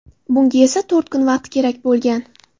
Bunga esa to‘rt kun vaqt kerak bo‘lgan.